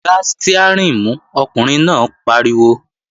Gbá stiárìn mú, ọkùnrin náà pariwo!